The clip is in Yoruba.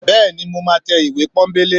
bẹẹni, mọ ma te ìwé pónbelé